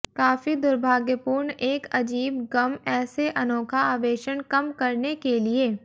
काफी दुर्भाग्यपूर्ण एक अजीब गम ऐसे अनोखा आवेषण कम करने के लिए